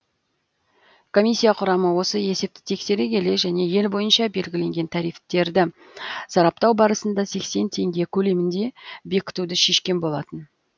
комиссия құрамы осы есепті тексере келе және ел бойынша белгіленген тарифтерді сараптау барысында сексен теңге көлемінде бекітуді шешкен болатын